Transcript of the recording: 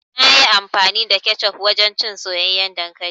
Nayi amfani da kecof wajen cin soyayyen dankali.